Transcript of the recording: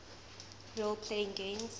role playing games